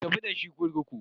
Ku tafi da shi kurkuku.